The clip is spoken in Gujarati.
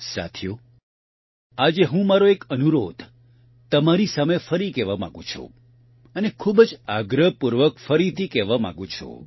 સાથીઓ આજે હું મારો એક અનુરોધ તમારી સામે ફરી કહેવા માંગું છું અને ખૂબ જ આગ્રહપૂર્વક ફરીથી કહેવા માંગું છું